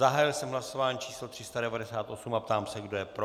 Zahájil jsem hlasování číslo 398 a ptám se, kdo je pro.